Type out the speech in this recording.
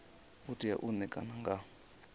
u tea u ṋekana nga